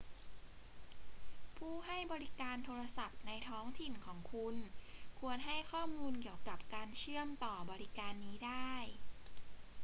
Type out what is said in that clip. ผู้ให้บริการโทรศัพท์ในท้องถิ่นของคุณควรให้ข้อมูลเกี่ยวกับการเชื่อมต่อบริการนี้ได้